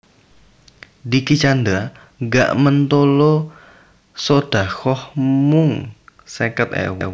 Dicky Chandra gak mentolo sodaqoh mung seket ewu